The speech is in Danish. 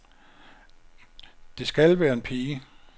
Det skal være en pige.